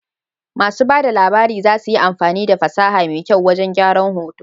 Masu ba da labari za su yi amfani da fasaha mai kyau wajan gyran hoto